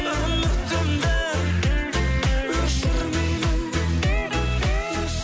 үмітімді өшірмеймін